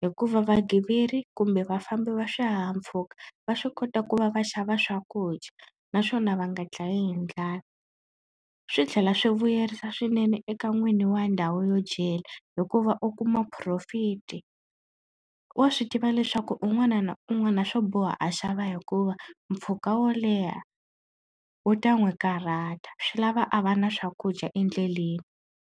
hikuva vagiveri kumbe vafambi va swihahampfhuka va swi kota ku va va xava swakudya naswona va nga dlayi hi ndlala swi tlhela swi vuyerisa swinene eka n'wini wa ndhawu yo dyela hikuva u kuma profit wa swi tiva leswaku un'wana na un'wana swo boha a xava hikuva mpfhuka wo leha wu ta n'wi karhata swi lava a va na swakudya endleleni.